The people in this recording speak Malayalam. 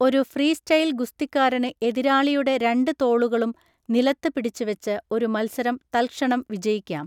ഒരു ഫ്രീസ്റ്റൈൽ ഗുസ്തിക്കാരന് എതിരാളിയുടെ രണ്ട് തോളുകളും നിലത്ത് പിടിച്ച് വച്ച് ഒരു മത്സരം തൽക്ഷണം വിജയിക്കാം.